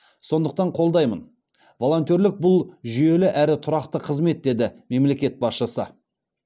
сондықтан қолдаймын волонтерлік бұл жүйелі әрі тұрақты қызмет деді мемлекет басшысы